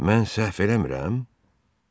Mən səhv eləmirəm?